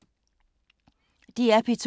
DR P2